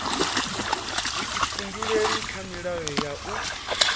vhuifhinduleli kha milayo ya u